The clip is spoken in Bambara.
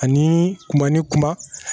Ani kuma ni kuma